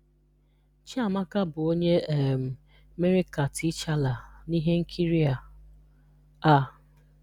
Chiamaka bụ onye um mere ka T'Challa n'ihe nkiri a. a.